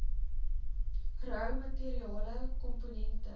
rou materiale komponente